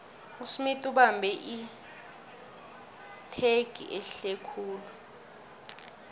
usmith ubambe itjhegi ehlekhulu